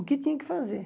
O que tinha que fazer?